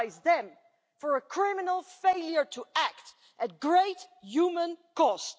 Maybe we should criminalise them for a criminal failure to act at great human cost.